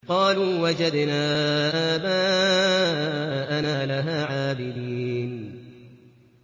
قَالُوا وَجَدْنَا آبَاءَنَا لَهَا عَابِدِينَ